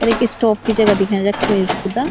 और ऐक स्टाप की जगा दिखयाईं जख कोई रुकदा।